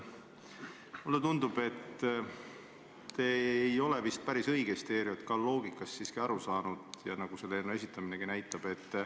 Mulle tundub, et te ei ole päris õigesti ERJK loogikast siiski aru saanud, nagu selle eelnõu esitleminegi näitab.